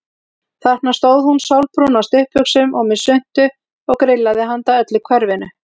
Þarna stóð hún sólbrún á stuttbuxum og með svuntu og grillaði handa öllu hverfinu.